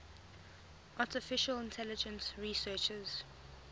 artificial intelligence researchers